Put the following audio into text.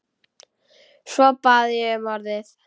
Svo bað ég um orðið.